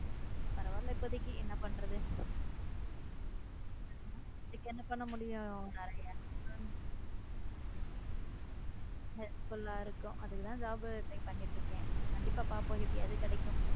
பரவால்ல இப்போதைக்கு என்ன பண்றது இதுக்கு என்ன பண்ண முடியும் நிறைய help full ஆ இருக்கும் அதுக்கு தான் job try பண்ணிட்டு இருக்கேன் கண்டிப்பா பாப்போம் எப்படியாவது கிடைக்கும்.